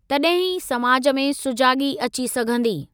तड॒हिं ई समाज में सुजागी॒ अची सघंदी।